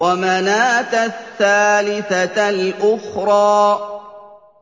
وَمَنَاةَ الثَّالِثَةَ الْأُخْرَىٰ